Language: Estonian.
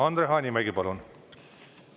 Andre Hanimägi, palun!